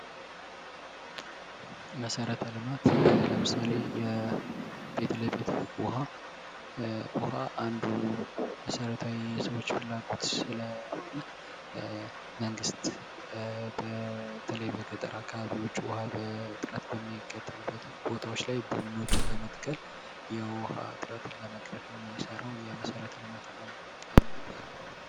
መሰረተ ልማት ለምሳሌ ፊት ለፊት ዉኃ :- ዉኃ አንዱ የሰዉ ልጅ መሰረታዊ ፍላጎት ስለሆነ መንግስት በተለይ በገጠር አካባቢዎች ዉስጥ ዉኃ እጥረት በሚያጋጥምበት ቦታዎች ላይ ቡናዎችን በመትከል የዉኃ እጥረትን ለመቅረፍ የሚሰራዉ የመሰረተ ልማት አንዱ አይነት ነዉ።